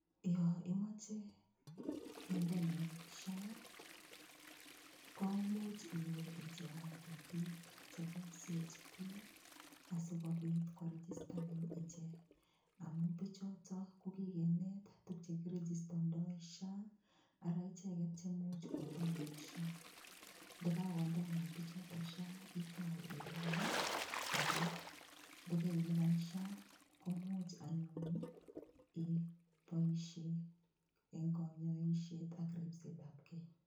Yo imoche kendenen SHA komuuch iwe icheng'ate biik chebo [CHP asikobit koregistanin ichek amun bichuto kokikenet tukchekiregistondoi SHA ara icheget chemuuch kondenen SHA ndikakondenen bichotok SHA itou ilipan ako ndikeilipan SHA komuuch anyun iboishe eng' konyoishet ak ripsetab kei